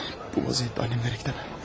Bu vaziyətə annəmlərə gedəmə.